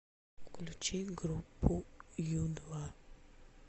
включи группу ю два